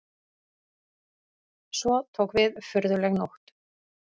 Svo tók við furðuleg nótt.